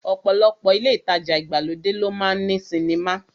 Ọ̀pọ̀lọpọ̀ ilé ìtajà ìgbàlódé ló máa ń ní sinimá